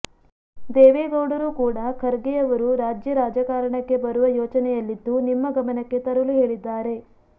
ದೇವೇಗೌಡರು ಕೂಡ ಖರ್ಗೆ ಅವರು ರಾಜ್ಯ ರಾಜಕಾರಣಕ್ಕೆ ಬರುವ ಯೋಚನೆಯಲ್ಲಿದ್ದು ನಿಮ್ಮ ಗಮನಕ್ಕೆ ತರಲು ಹೇಳಿದ್ದಾರೆ